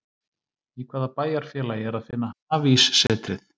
Í hvaða bæjarfélagi er að finna Hafíssetrið?